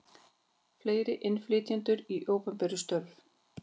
Fleiri innflytjendur í opinber störf